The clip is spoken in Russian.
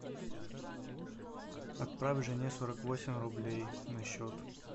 отправь жене сорок восемь рублей на счет